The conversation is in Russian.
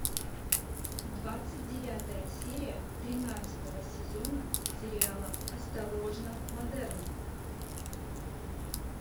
двадцать девятая серия тринадцатого сезона сериала осторожно модерн